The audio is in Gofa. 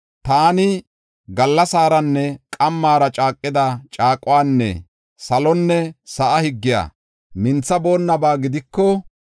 Taani gallasaranne qammara caaqida caaquwanne salonne sa7a higgiya minthaboonnaba gidiko,